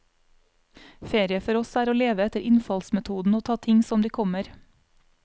Ferie for oss er å leve etter innfallsmetoden og ta ting som de kommer.